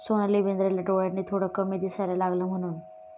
सोनाली बेंद्रेला डोळ्यांनी थोडं कमी दिसायला लागलं म्हणून...